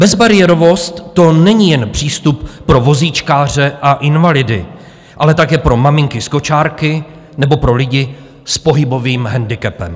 Bezbariérovost, to není jen přístup pro vozíčkáře a invalidy, ale také pro maminky s kočárky nebo pro lidi s pohybovým handicapem.